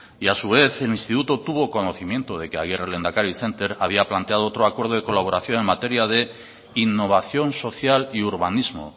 y a su vez el instituto tuvo conocimiento de que agirre lehendakari center había planteado otro acuerdo de colaboración en materia de innovación social y urbanismo